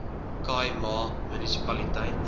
khai ma munisipaliteit